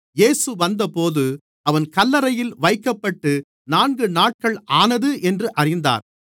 இயேசு வந்தபோது அவன் கல்லறையில் வைக்கப்பட்டு நான்கு நாட்கள் ஆனது என்றுஅறிந்தார்